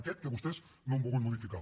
aquest que vostès no han volgut modificar